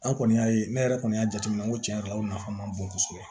An kɔni y'a ye ne yɛrɛ kɔni y'a jateminɛ n ko tiɲɛ yɛrɛ la o nafa man bon kosɛbɛ